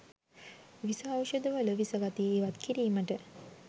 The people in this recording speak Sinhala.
විස ඖෂධ වල විස ගතිය ඉවත්කිරීමට